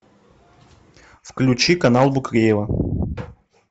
включи канал букреева